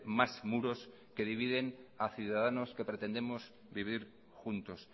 más muros que dividen a ciudadanos que pretendemos vivir juntos